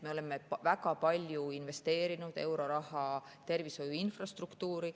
Me oleme investeerinud väga palju euroraha tervishoiu infrastruktuuri.